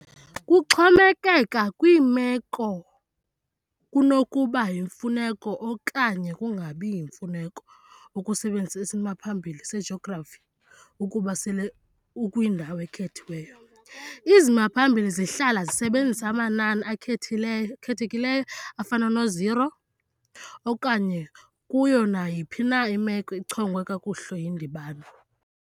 Kuxhomekeka kwimeko, kunokuba yimfuneko okanye kungabi yimfuneko ukusebenzisa isimaphambili sejografi ukuba sele ukwindawo ekhethiweyo izimaphambili zihlala zisebenzisa amanani akhethekileyo afana no-zero, okanye kuyo nayiphi na imeko echongwe kakuhle yindibano.